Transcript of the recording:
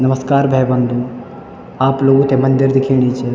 नमस्कार भाई-बंधो आप लोगों थे मंदिर दिखेणी च।